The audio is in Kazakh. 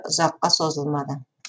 ұзаққа созылмады